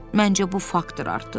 Məncə, bu faktdır artıq.